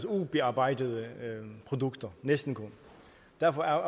ubearbejdede produkter næsten kun derfor er